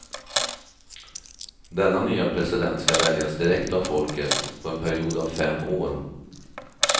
Denna nya president ska väljas direkt av folket på en period av fem år.